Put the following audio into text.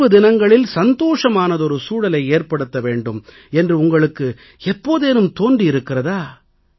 தேர்வு தினங்களில் மகிழ்ச்சியான சூழலை ஏற்படுத்த வேண்டும் என்று உங்களுக்கு எப்போதேனும் தோன்றியிருக்கிறதா